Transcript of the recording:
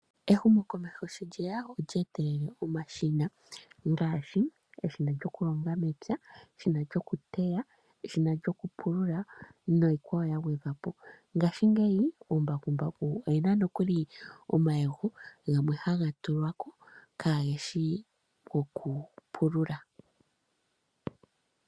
Ehumo komeho shi lyeya olyeetelele omashina ngaashi omashina gokulonga momapya, eshina lyokuteya, eshina lyokupulula, niikwawo yagwedhwapo. Mongaashi ngeyi komambakumbaku ohakutulwa omashina gamwe kaageshi gokupulula.